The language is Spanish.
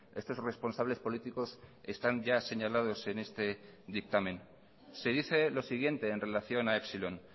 estos responsables políticos están ya señalados en este dictamen se dice lo siguiente en relación a epsilon